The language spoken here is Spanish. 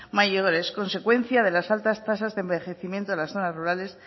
mayores consecuencia de las altas tasas de envejecimiento en las zonas rurales